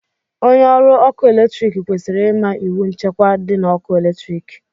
Onye ọrụ ọkụ eletrik kwesịrị ịma iwu nchekwa dị na ọkụ eletrik